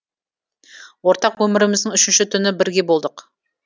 ортақ өміріміздің үшінші түні бірге болдық